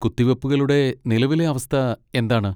കുത്തിവെപ്പുകളുടെ നിലവിലെ അവസ്ഥ എന്താണ്?